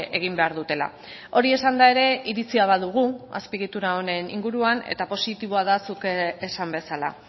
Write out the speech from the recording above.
egin behar dutela hori esanda ere iritzia badugu azpiegitura honen inguruan eta positiboa da zuk esan bezala